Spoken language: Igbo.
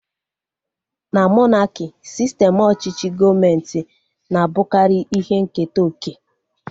Na monaki, sistem ọchịchị gọọmenti na-abụkarị ihe nketa oke